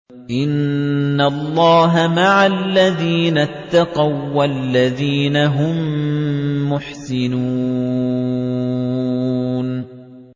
إِنَّ اللَّهَ مَعَ الَّذِينَ اتَّقَوا وَّالَّذِينَ هُم مُّحْسِنُونَ